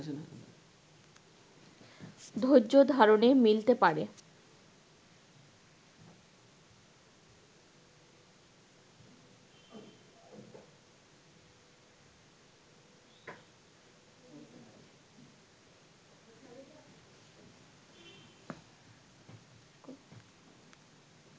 ধৈর্যধারণে মিলতে পারে